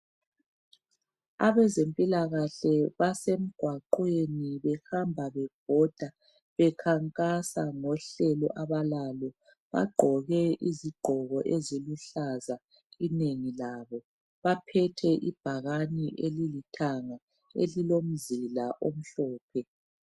Abezempilakahle basemgwaqweni bahamba bebhoda bekhankasa ngohlelo abalalo. Bagqoke izigqoko eziluhlaza inengi labo, baphethe ibhakani elilithanga elilomzila omhlophe.